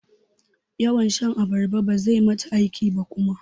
Yawan shan abarba bazai mata aiki ba kuma.